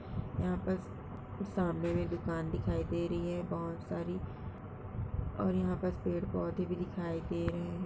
यहाँ पस कुछ सामने भी दुकान दिखाई दे रही है बहुत सारी और यहाँ बस पेड़ पौधे भी दिखाई दे रहे हैं ।